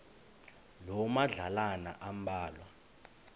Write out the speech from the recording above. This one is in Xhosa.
loo madlalana ambalwa